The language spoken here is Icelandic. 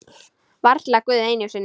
Varla Guð einu sinni!